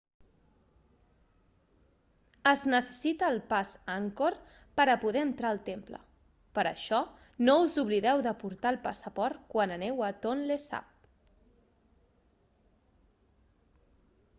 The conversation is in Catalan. es necessita el pas angkor per a poder entrar al temple per això no us oblideu de portar el passaport quan aneu a tonlé sap